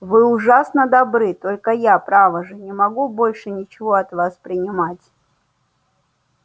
вы ужасно добры только я право же не могу больше ничего от вас принимать